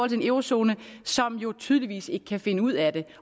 en eurozone som jo tydeligvis ikke kan finde ud af det